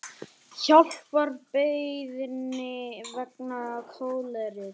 Hjálparbeiðni vegna kóleru